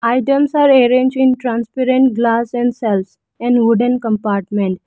items are arrange in transparent glass and shelves and wooden compartment.